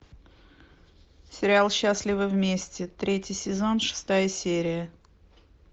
сериал счастливы вместе третий сезон шестая серия